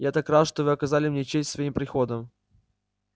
я так рад что вы оказали мне честь своим приходом